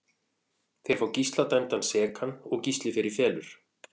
Þeir fá Gísla dæmdan sekan og Gísli fer í felur.